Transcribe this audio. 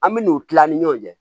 An bɛ n'u kila an ni ɲɔgɔn cɛ